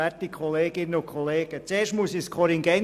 Zuerst muss ich ein Korrigendum anbringen: